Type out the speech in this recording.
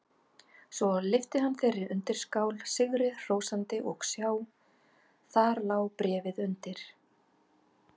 Svo lyfti hann þeirri undirskál sigri hrósandi og sjá: Þar lá bréfið undir!